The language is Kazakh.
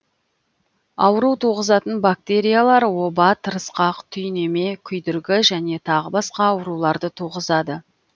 ауру туғызатын бактериялар оба тырысқақ түйнеме күйдіргі және тағы басқа ауруларды туғызады